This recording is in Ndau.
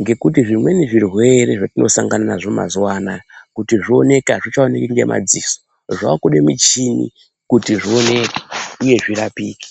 Ngekuti zvimweni zvirwere zvatinosangana nazvo mazuva anaya kuti zvioneke hazvichaoneki ngemadziso zvakuda muchini kuti zvioneke, uye zvirapike.